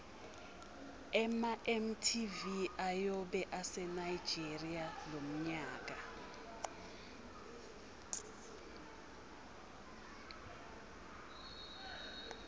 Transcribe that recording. ema mtv ayobe ase nigeria lomnyaka